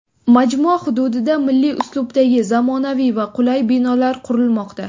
Majmua hududida milliy uslubdagi zamonaviy va qulay binolar qurilmoqda.